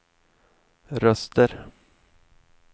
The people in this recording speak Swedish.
röster